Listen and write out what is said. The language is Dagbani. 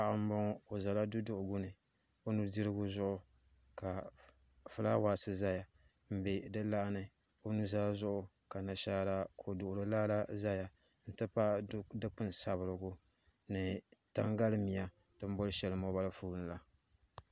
Paɣa n boŋo o ʒɛla duduɣu guni o nudirigu zuɣu ka fulaawaasi ʒɛya n bɛ di laa ni o nuzaa zuɣu ka nashaara ko duɣuri laa la ʒɛya n ti pahi dikpuni sabirigu ni tangali miya tini boli shɛli moobal foon la